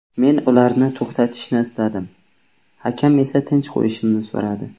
Men ularni to‘xtatishni istadim, hakam esa tinch qo‘yishimni so‘radi.